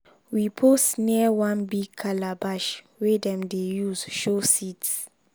we pose near one big calabash wey dem dey use show seeds.